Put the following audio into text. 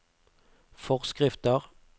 forskrifter